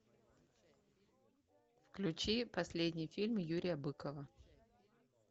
включи последний фильм юрия быкова